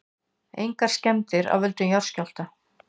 Engar skemmdir af völdum skjálfta